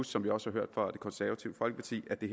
som vi også hørt fra det konservative folkeparti at det